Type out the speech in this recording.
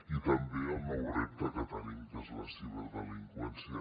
i també el nou repte que tenim que és la ciberdelinqüència